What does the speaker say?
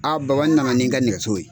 baba n nana ni n ka nɛgɛso ye